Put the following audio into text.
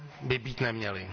by být neměly.